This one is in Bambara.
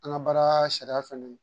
An ka baara sariya fɛnɛ